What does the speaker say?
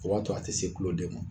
O b'a to a tɛ se kuloden ma